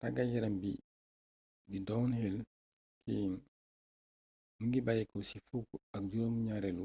taggat yarambi bi di downhill skiing mingi bayyéko ci fukk ak juroom gnarélu